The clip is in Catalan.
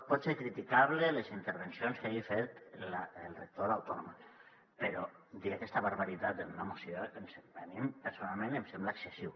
poden ser criticables les intervencions que hagi fet el rector de l’autònoma però dir aquesta barbaritat en una moció a mi personalment em sembla excessiu